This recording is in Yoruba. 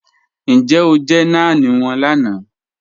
Níjẹ̀ o jẹ́ náàń wọn lànà?